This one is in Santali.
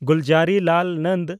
ᱜᱩᱞᱡᱟᱨᱤᱞᱟᱞ ᱱᱚᱱᱫᱚ